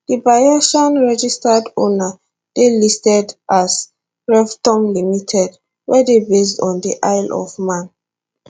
di bayesian registered owner dey listed as revtom ltd wey dey based on di isle of man